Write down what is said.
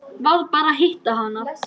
Varð bara að hitta hana.